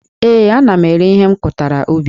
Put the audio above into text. Ee, ana m ere ihe m kụtara ubi